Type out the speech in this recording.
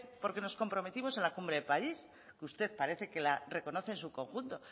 porque nos comprometimos en la cumbre de parís usted parece que la reconoce en su conjunto